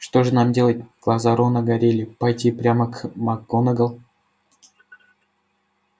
что же нам делать глаза рона горели пойти прямо к макгонагалл